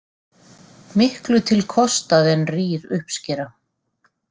Miklu til kostað en rýr uppskera.